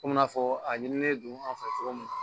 Komi n'a fɔ a ɲininen don an fɛ cogo min